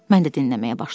Mən də dinləməyə başladım.